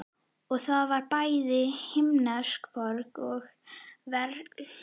Og það var bæði himnesk borg og veraldleg.